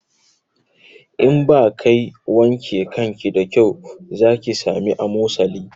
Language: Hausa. In ba kai wanke kanki da kyau za ki sami amosali